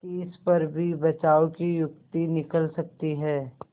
तिस पर भी बचाव की युक्ति निकल सकती है